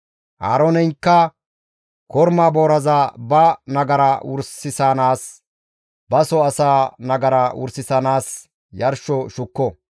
«Aarooneykka korma booraza ba nagara wursanaassinne baso asaa nagara wursanaas yarsho shukko.